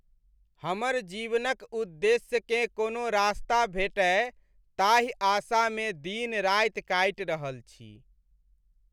हमर जीवनक उद्देश्यकेँ कोनो रास्ता भेटय ताहि आशामे दिन राति काटि रहल छी।